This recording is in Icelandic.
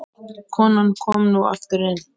Konan kom nú aftur inn.